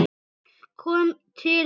Fólk kom til hennar.